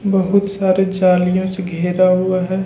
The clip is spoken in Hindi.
बहुत सारे जालियों से घेरा हुआ हैं।